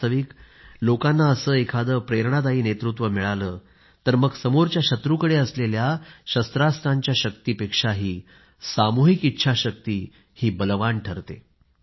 वास्तविक लोकांना असे एखादे प्रेरणादायी नेतृत्व मिळाले तर मग समोरच्या शत्रूकडे असलेल्या शस्त्रांस्त्रांच्या शक्तीपेक्षाही सामूहिक इच्छाशक्ती बलवान ठरते